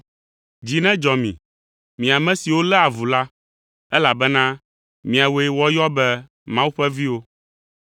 Dzi nedzɔ mi, mi ame siwo léa avu la, elabena miawoe woayɔ be Mawu ƒe viwo.